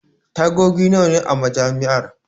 Tagogi nawa ne a Majami'ar?